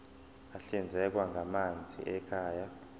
ahlinzekwa ngamanzi ekhaya